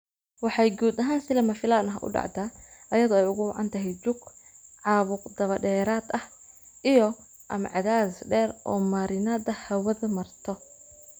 Waxay guud ahaan si lama filaan ah u dhacdaa iyadoo ay ugu wacan tahay jug, caabuq dabadheeraad ah iyo/ama cadaadis dheer oo marinnada hawadu marto.